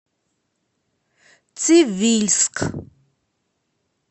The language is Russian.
цивильск